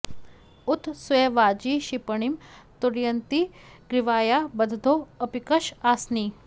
उ॒त स्य वा॒जी क्षि॑प॒णिं तु॑रण्यति ग्री॒वायां॑ ब॒द्धो अ॑पिक॒क्ष आ॒सनि॑